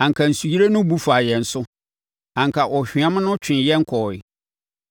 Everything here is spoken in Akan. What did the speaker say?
anka nsuyire no bu faa yɛn so, anka ɔhweam no twee yɛn kɔeɛ,